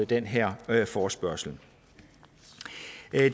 den her forespørgsel